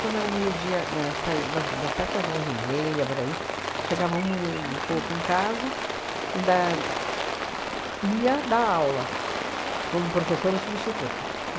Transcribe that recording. Quando era meio-dia, ahn sai das das sete às onze e meia, por aí, chegava uma uma e e pouco em casa ainda ia dar aula como professora substituta.